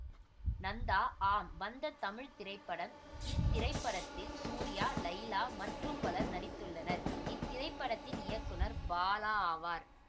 நந்தா ஆம் வந்த தமிழ் திரைப்படம்இத்திரைப்படத்தில் சூர்யாலைலா மற்றும் பலர் நடித்துள்ளனர்இத்திரைப்படத்தின் இயக்குனர் பாலா ஆவார்